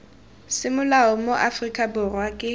semolao mo aforika borwa ke